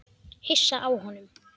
Hissa á honum.